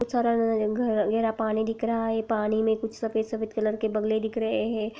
खूब सारा पानी दिख रहा है पानी मे कुछ सफेद सफेद कलर के बगले दिख रहे हैं ।